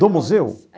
Do museu?